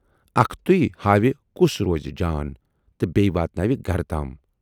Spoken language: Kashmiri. اکھتُے ہاوِ کُس روزِ جان تہٕ بییہِ واتناوِ گرٕ تام۔